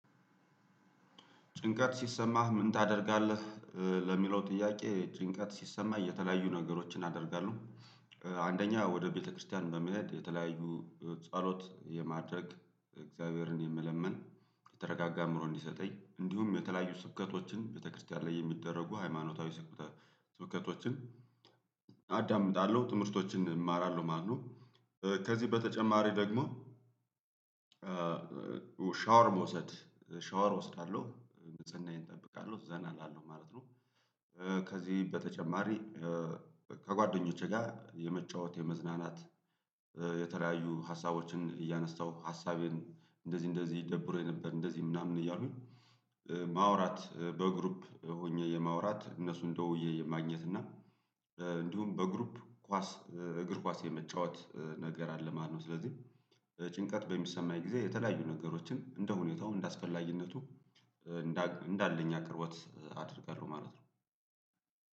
ጭንቀት ሲሰማህ ምን ታደርጋለህ ለሚለው ጥያቄ ጭንቀት ሲሰማኝ እየተለያዩ ነገሮችን አደርጋለሁ። አንደኛ ወደ ቤተክርስቲያን በመሄድ የተለያዩ ጸሎት የማድረግ እግዚአብሔርን የመለመን የተረጋጋ አምሮ እንዲሰጠኝ እንዲሁም የተለያዩ ስብከቶችን ቤተክርስቲያን ላይ የሚደረጉ ሃይማኖታዊ ስብከቶችን አዳምጣለሁ ትምህርቶችን እማራለሁ ማለት ነው ከዚህ በተጨማሪ ደግሞ ሻወር መውሰድ ሻወር እወስዳለሁ ንጽህናይዬን እጠብቃለሁ ዘና እላለሁ ማለት ነው። ከዚህ በተጨማሪ ከጓደኞቼ ጋር የመጫወት የመዝናናት የተለያዩ ሀሳቦችን እያነሳው ሀሳቤን እንደዚህ እንደዚህ ይደብረው የነበር እንደዚህ ምናምን እያሉኝ ማውራት በግሩፕ ሆኜ የማውራት እነሱን ደውዬ ማግኘት እና እንዲሁም በግሩፕ ኳስ እግር ኳስ የመጫወት ነገር አለ ማለት ነው። ስለዚህ ጭንቀት በሚሰማኝ ጊዜ የተለያዩ ነገሮችን እንደ ሁኔታው እንዳስፈላጊነቱ እንዳለኝ አቅርቦት አደርጋለሁ ማለት ነው።